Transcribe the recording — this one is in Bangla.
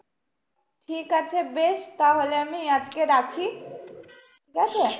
ঠিক আছে বেশ তাহলে আমি আজকে রাখি, ঠিকাছে?